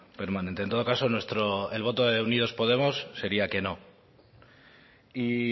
permanente en todo caso el voto de unidos podemos sería que no y